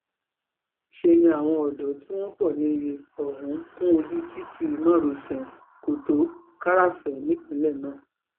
ṣe ni àwọn ọ̀dọ́ tí wọ́n pọ̀ níye ọ̀hún kún ojú títí márosẹ̀ kọ́tòń-kàràfẹ̀ nípìnlẹ̀ náà